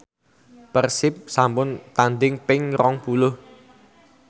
Persib sampun tandhing ping rong puluh